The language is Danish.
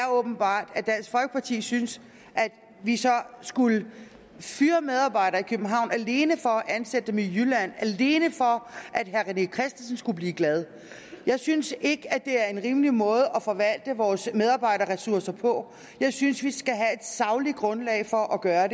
åbenbart synes at vi så skulle fyre medarbejdere i københavn alene for at ansætte dem i jylland alene for at herre rené christensen skulle blive glad jeg synes ikke at det er en rimelig måde at forvalte vores medarbejderressourcer på jeg synes vi skal have et sagligt grundlag for at gøre